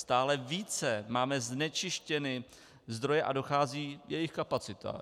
Stále více máme znečištěny zdroje a dochází jejich kapacita.